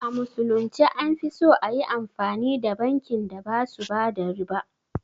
A musulunce an fi so ayi amfani da bankin da basu bada riba